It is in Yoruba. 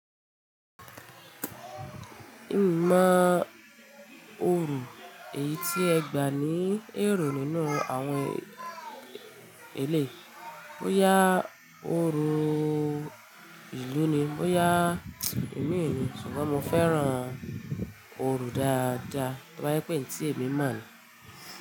Ìmọ̀ orò èyí tí ẹ gbà ní èrò nínú àwọn eléyìí, bóyá orò ìlú ni, bóya ìmi ni, ṣùgbọ́n mo fẹ́ràn orò dáadáa, to bá je pè en tí èmi mọ̀ ni.